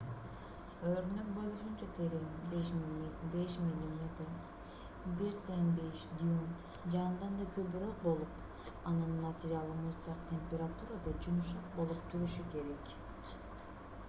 өрнөк болушунча терең 5 мм 1/5 дюйм же андан да көбүрөөк болуп анын материалы муздак температурада жумшак болуп турушу керек